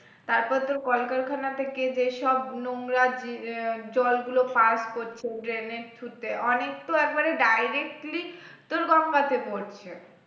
তারপর তোর কলকারখানা থেকে যেসব নোংরা আহ জলগুলো pass করছে drain এর through তে অনেক তো একেবারে directly তো গঙ্গা তে পড়ছে